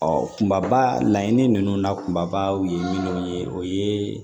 kunba laɲini ninnu na kumabaw ye minnu ye o ye